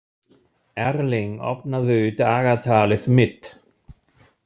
Erling, opnaðu dagatalið mitt.